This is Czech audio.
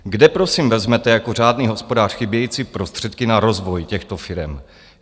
Kde prosím vezmete jako řádný hospodář chybějící prostředky na rozvoj těchto firem?